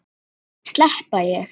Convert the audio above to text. Slepp ég?